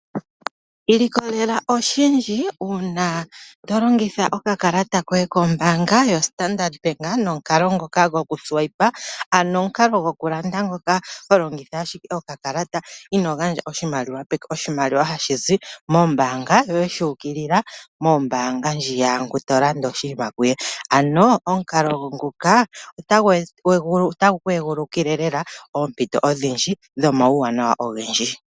Ilikolela oshindji uuna tolongitha okakalata koye kombaanga yoStandard bank nomukalo ngoka gokudhengitha nokakalata ano omukalo gwokulanda ngoka holongitha ashike okakalata inoogandja oshimaliwa peke, oshimaliwa hashi zi mombaanga yoye shu ukilila mombaanga ndji yaango to landa oshinima kuye ano omukalo nguka otagu ku egululile lela oompito odhindji dhomauwanawa ogendji.